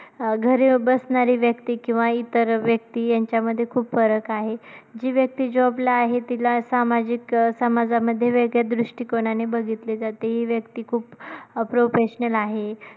अं घरी बसणारी व्यक्ती किंवा इतर व्यक्ती यांच्यामध्ये खूप फरक आहे, जी व्यक्ती job ला आहे तिला सामाजिक समाजामध्ये वेगळ्या दृष्टीकोणाने बघितले जाते, हि व्यक्ती खूप अं professional आहे.